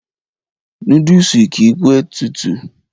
Núdùsù kìí p tutù.